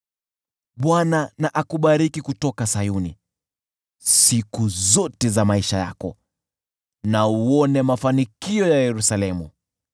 Bwana na akubariki kutoka Sayuni siku zote za maisha yako, na uone mafanikio ya Yerusalemu,